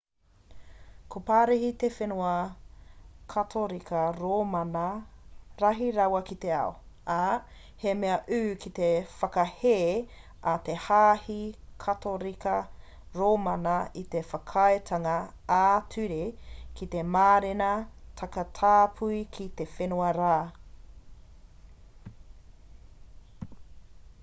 ko parihi te whenua katorika rōmana rahi rawa ki te ao ā he mea ū te whakahē a te hāhi katorika rōmana i te whakaaetanga ā-ture ki te mārena takatāpui ki te whenua rā